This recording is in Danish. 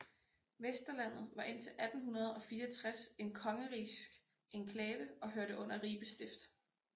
Vesterlandet var indtil 1864 en kongerigsk enklave og hørte under Ribe Stift